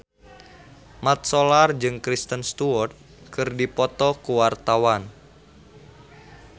Mat Solar jeung Kristen Stewart keur dipoto ku wartawan